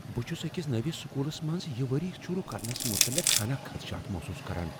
بہٕ چھس أکس نٔوس سکولس منٛز یہ ؤری شروٗع کرنس متعلق ہنا خدشات محسوٗس کران۔